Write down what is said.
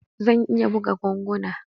Zan iya buga ganguna.